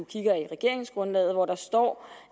kigger i regeringsgrundlaget hvor der står